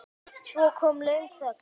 Svo kom löng þögn.